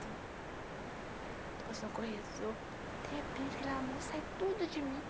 Tu tu passou, de repente aquele amor sai tudo de mim.